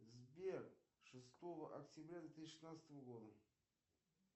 сбер шестого октября две тысячи шестнадцатого года